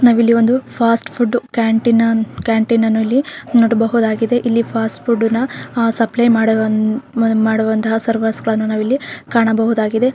ನಾವಿಲ್ಲಿ ಒಂದು fast food ಕ್ಯಾಂಟೀನನ್ ಕ್ಯಾಂಟೀನನ್ನು ಇಲ್ಲಿ ನೋಡಬಹುದಾಗಿದೆ ಇಲ್ಲಿ ಫಾಸ್ಟ್ ಫುಡ್ ನ ಆಹ್ಹ್ ಸಪ್ಲೈ ಮಾಡುವನ್ ಮಾಡುವಂತಹ ಸರ್ವರ್ಸ ಗಳನ್ನು ನಾವಿಲ್ಲಿ ಕಾಣಬಹುದಾಗಿದೆ.